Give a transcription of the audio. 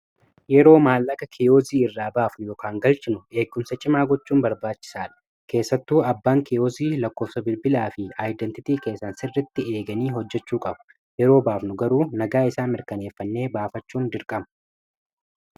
yeroo maallaka kiyoozii irraa baafnu yookan galchinu eeggumsa cimaa gochuun barbaachisaadha keessattuu abbaan kiyoozii lakkoofsa bilbilaa fi ayidentitii keessa sirritti eeganii hojjechuu qabu yeroo baafnu garuu nagaa isaa mirkaneeffannee baafachuun dirqamu